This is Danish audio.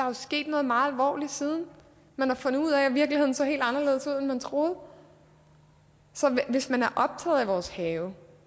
er sket noget meget alvorligt siden man har fundet ud af at virkeligheden ser helt anderledes ud end man troede så hvis man er optaget af vores have